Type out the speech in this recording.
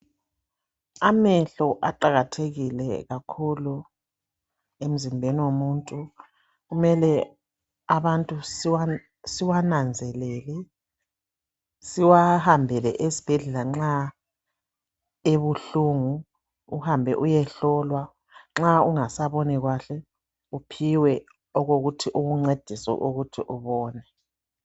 Amehlo aqakathekile kakhulu emzimbeni womuntu kumele abantu siwananzelele siwahambele esibhedlela nxa ebuhlungu uhambe uyehlolwa nxa ungasaboni kahle uphiwe okokuthi kukuncedise ukuthi ubone.